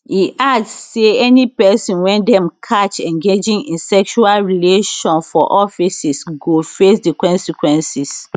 e add say any pesin wey dem catch engaging in sexual relation for offices go face di consequences